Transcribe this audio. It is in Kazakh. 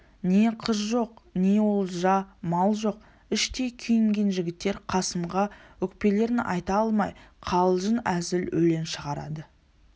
не қыз жоқ не олжа мал жоқ іштей күйінген жігіттер қасымға өкпелерін айта алмай қалжың-әзіл өлең шығарады